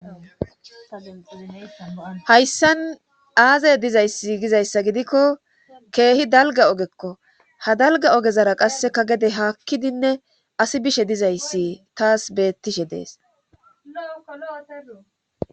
Hayssan aaze dizayssi gizayssa gidikko keehi dalga ogekko ha dalga ogezara qasseka gede haakkidinne asi bishe dizayssi taas beettishe dees